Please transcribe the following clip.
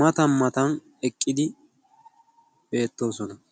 matan matan eqqidosona.